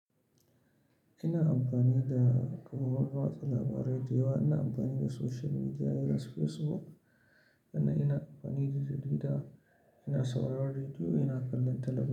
Ina amfani da kuma maruba wasa labarai da yawa. Ina amfani da social media, irin su Facebook. Sannan ina amfani da jarida, ina sauraron rediyo, ina kallon talabijin.